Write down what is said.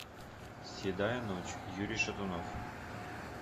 седая ночь юрий шатунов